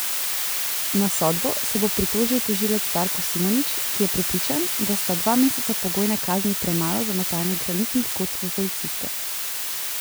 Na sodbo se bo pritožil tožilec Darko Simonič, ki je prepričan, da sta dva meseca pogojne kazni premalo za metanje granitnih kock v policiste.